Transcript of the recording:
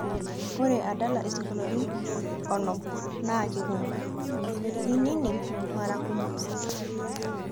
ore adala isinkolioni onom naa kekumok, ninining' mara kumok